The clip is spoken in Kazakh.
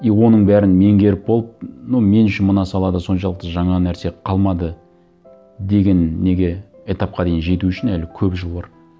и оның бәрін меңгеріп болып ну мен үшін мына салада соншалықты жаңа нәрсе қалмады деген неге этапқа дейін жету үшін әлі көп жыл бар